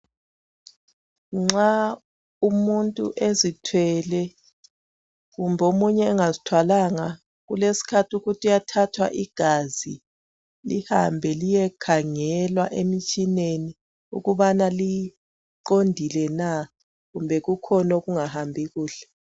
Nxa umuntu ezithwele kumbe omunye engazithwalanga kulesikhathi ukuthi uyathathwa igazi lihambe liyekhangelwa emtshineni ukubana liqondile na kumbe kukhona okungahambi kuhle.